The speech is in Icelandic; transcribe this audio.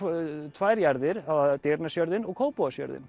tvær jarðir Digranesjörðin og